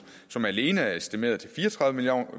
som alene er estimeret til fire og tredive